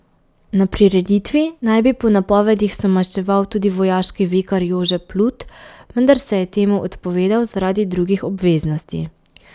Na prireditvi naj bi po napovedih somaševal tudi vojaški vikar Jože Plut, vendar se je temu odpovedal zaradi drugih obveznosti.